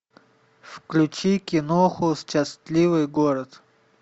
включи киноху счастливый город